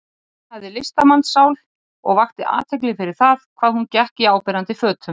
Hún hafði listamannssál og vakti athygli fyrir það hvað hún gekk í áberandi fötum.